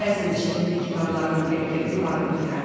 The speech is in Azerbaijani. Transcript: Bəzən də şəkilli kitablarını gətirib Dilaraya oxuyardı.